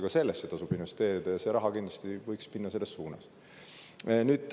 Ka sellesse tasub investeerida ja see raha võiks kindlasti selles suunas minna.